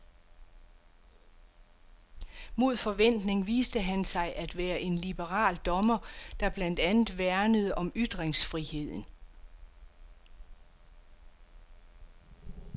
Mod forventning viste han sig at være en liberal dommer, der blandt andet værnede om ytringsfriheden.